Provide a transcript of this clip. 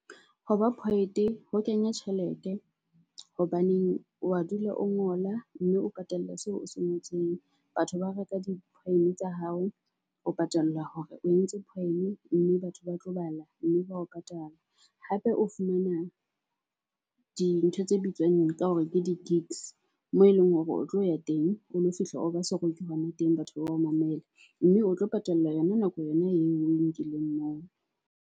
Ho ba poet-e ho kenya tjhelete hobaneng o wa dula o ngola mme o patallwa seo o se ngotseng. Batho ba reka di-poem-e tsa hao, o patallwa hore o entse poem-e mme batho ba tlo bala mme ba o ka patala. Hape o fumana dintho tse bitswang ka hore ke di-gigs, moo eleng hore o tlo ya teng, o lo fihla o ba seroki hona teng, batho ba o mamela. Mme o tlo patallwa yona nako yona eo o e nkileng moo.